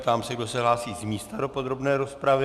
Ptám se, kdo se hlásí z místa do podrobné rozpravy.